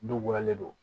Dukolo le don